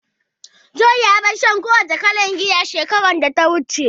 John ya bar shan kowane irin giya shekarar da ta gabata